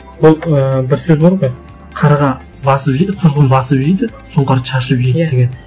ол ііі бір сөз бар ғой қарға басып жейді құзғын басып жейді сұнқар шашып жейді деген иә